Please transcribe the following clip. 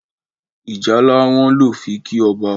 ìjálá wón ló fí kí ọba.